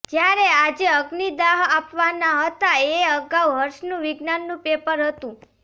જ્યારે આજે અગ્નિદાહ આપવાના હતા એ અગાઉ હર્ષનું વિજ્ઞાનનું પેપર હતું